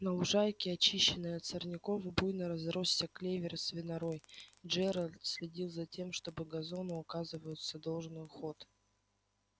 на лужайке очищенной от сорняков буйно разросся клевер и свинорой и джералд следил за тем чтобы газону оказываются должный уход